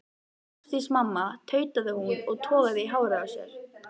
Ásdís mamma, tautaði hún og togaði í hárið á sér.